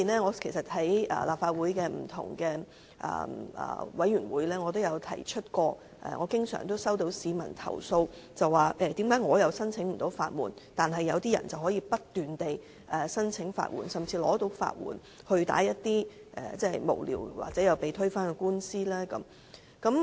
我在立法會不同的委員會都曾提及，我經常收到市民投訴無法申請法援，但有些人卻可以不斷申請法援，甚至獲批法援去提出一些無聊或最終被推翻的官司。